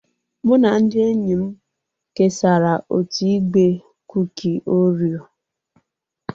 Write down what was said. Mụ na ndị enyi m kesara otu igbe kuki Orio.